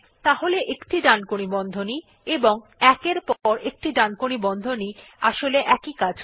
তাহলে একটি ডানকোণী বন্ধনী এবং ১ এর পর একটি ডানকোণী বন্ধনী আসলে একই কাজ করে